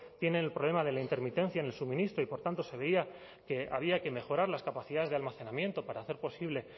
tienen el problema de la intermitencia en el suministro y por tanto se veía que había que mejorar las capacidades de almacenamiento para hacer posible